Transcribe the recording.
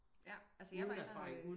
Ja altså jeg var